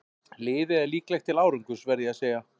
Liðið er líklegt til árangurs verð ég að segja.